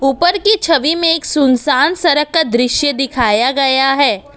ऊपर की छवि में एक सुनसान सड़क का दृश्य दिखाया गया है।